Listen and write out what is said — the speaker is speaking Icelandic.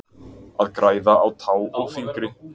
Að græða á tá og fingri